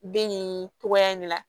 Den nin togoya in na